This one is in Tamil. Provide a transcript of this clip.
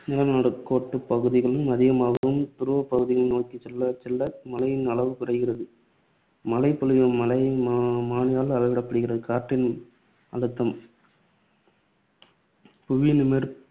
நிலநடுக்கோட்டுப் பகுதிகளில் அதிகமாகவும், துருவப்பகுதிகளை நோக்கிச் செல்லச்செல்ல மழையின் அளவு குறைகிறது. மழைப்பொழிவு மழை மா~ மானியால் அளவிடப்படுகிறது. காற்றின் அழுத்தம் புவியின் மேற்~